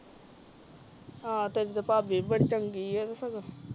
ਆਹ ਤੇਰੀ ਤਾ ਭਾਭੀ ਵੀ ਬੜੀ ਚੰਗੀ ਆ ਸੱਗੂ